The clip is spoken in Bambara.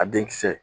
A den kisɛ